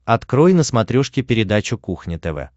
открой на смотрешке передачу кухня тв